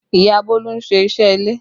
Ìyá Bolu ń ṣe iṣẹ́ ilé